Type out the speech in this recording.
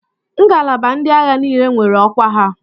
Ngalaba ndị agha niile nwere ọkwa ha.